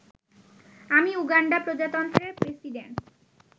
আমি উগান্ডা প্রজাতন্ত্রের প্রেসিডেন্ট